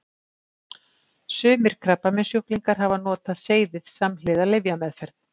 Sumir krabbameinssjúklingar hafa notað seyðið samhliða lyfjameðferð.